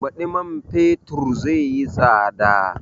Baɗi man fetur zai yi tsada